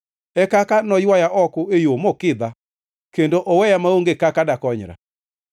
e kaka noywaya oko e yo mokidha kendo oweya maonge kaka dakonyra.